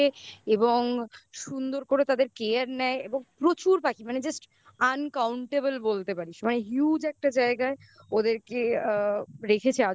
এবং সুন্দর করে তাদের care নেয় এবং প্রচুর পাখি মানে just uncountable বলতে পারিস মানে huge একটা জায়গায় ওদেরকে আ রেখেছে আজ অবধি.